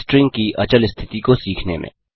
string की अचल स्थिति को सीखने में